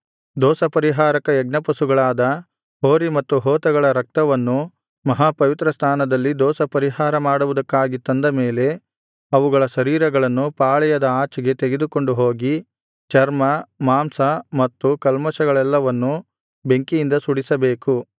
ದೋಷಪರಿಹಾರಕ ಯಜ್ಞಪಶುಗಳಾದ ಹೋರಿ ಮತ್ತು ಹೋತಗಳ ರಕ್ತವನ್ನು ಮಹಾಪವಿತ್ರಸ್ಥಾನದಲ್ಲಿ ದೋಷಪರಿಹಾರ ಮಾಡುವುದಕ್ಕಾಗಿ ತಂದ ಮೇಲೆ ಅವುಗಳ ಶರೀರಗಳನ್ನು ಪಾಳೆಯದ ಆಚೆಗೆ ತೆಗೆದುಕೊಂಡು ಹೋಗಿ ಚರ್ಮ ಮಾಂಸ ಮತ್ತು ಕಲ್ಮಷಗಳೆಲ್ಲವನ್ನು ಬೆಂಕಿಯಿಂದ ಸುಡಿಸಬೇಕು